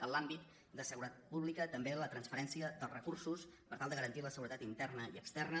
en l’àmbit de seguretat pública també la transferència dels recursos per tal de garantir la seguretat interna i externa